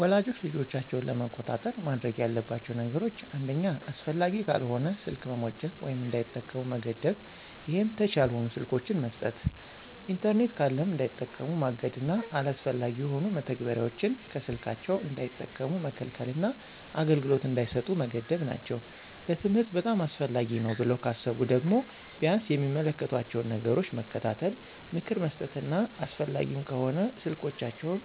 ወላጆች ልጆቻቸውን ለመቆጣጠር ማድረግ ያለባቸው ነገሮች አንደኛ አስፈላጊ ካልሆነ ስልክ መሞጨቅ ወይም እንዳይጠቀሙ መገደብ ይሄም ተች ያልሆኑ ስልኮችን መስጠት። ኢንተርኔት ካለም እንዳይጠቀሙ ማገድና አላስፈላጊ የሆኑ መተግበሪያዎችን ከስልካቸው እንዳይጠቀሙ መከልከልና አገልግሎት እንዳይሰጡ መገደብ ናቸው። ለትምህርት በጣም አስፈላጊ ነው ብለው ካሰቡ ደግሞ ቢያንስ የሚመለከቷቸውን ነገሮች መከታተል፣ ምክር መስጠትና አስፈላጊም ከሆነ ስልኮችንን